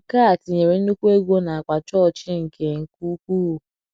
Nke a tinyere nnùkwu ego n'akpa chọọchị nke nke ukwuu.